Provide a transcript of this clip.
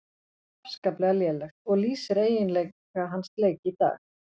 Afskaplega lélegt, og lýsir eiginlega hans leik í dag.